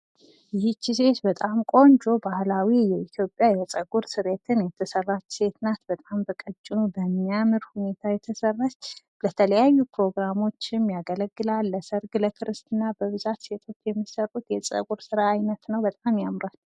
ይች ሴት በጣም ቆንጆ ባህላዊ የኢትዮጵያ የጸጉር ስሬትን የተሰራች ሴት ናት። በጣም በቀጭኑ በሚያምር ሁኔታ የተሰራች ለተለያዩ ፕሮግራሞችም ያገለግላል። ለሰርግ ለክርስና በብዛት ሴቶች የሚሰሩት የጸጉር ስራ አይነት ነው በጣም ያምራል።